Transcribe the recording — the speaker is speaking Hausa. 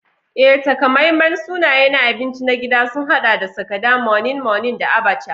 Ee, takamaiman sunaye na abinci na gida sun haɗa da Sakada, Moninmonin, da Abacha.